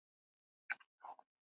Ég óska honum góðrar ferðar.